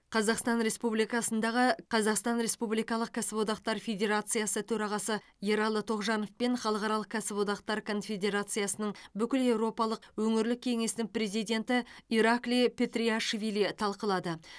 қазақстан республикасындағы қазақстан республикалық кәсіподақтар федерациясы төрағасы ералы тоғжанов пен халықаралық кәсіподақтар конфедерациясының бүкілеуропалық өңірлік кеңесінің президенті ираклий петриашвили талқылады